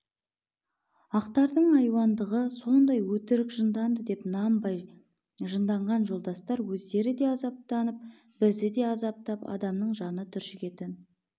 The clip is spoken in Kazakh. ақтардың айуандығы сондай өтірік жынданды деп нанбай жынданған жолдастар өздері де азаптанып бізді де азаптап адамның жаны түршігетін